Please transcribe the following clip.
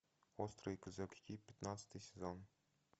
острые козырьки пятнадцатый сезон